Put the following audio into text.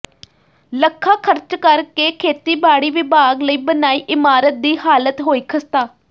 ਲੱਖਾਂ ਖ਼ਰਚ ਕਰ ਕੇ ਖੇਤੀਬਾੜੀ ਵਿਭਾਗ ਲਈ ਬਣਾਈ ਇਮਾਰਤ ਦੀ ਹਾਲਤ ਹੋਈ ਖ਼ਸਤਾ